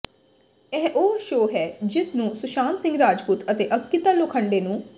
ਇਹ ਉਹ ਸ਼ੋਅ ਹੈ ਜਿਸ ਨੇ ਸੁਸ਼ਾਂਤ ਸਿੰਘ ਰਾਜਪੂਤ ਅਤੇ ਅੰਕਿਤਾ ਲੋਖੰਡੇ ਨੂੰ